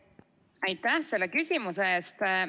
Aitäh selle küsimuse eest!